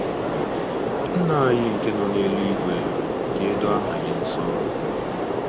Nna anyị nke nọ n’eluigwe, ka e doo aha gị nsọ